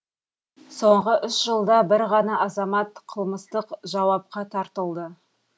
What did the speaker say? соңғы үш жылда бір ғана азамат қылмыстық жауапқа тартылды